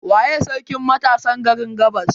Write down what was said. Waye sarkin matasan garin gabas?